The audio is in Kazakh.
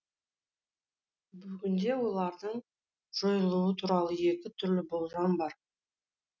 бүгінде олардың жойылуы туралы екі түрлі болжам бар